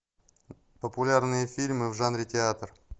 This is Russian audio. популярные фильмы в жанре театр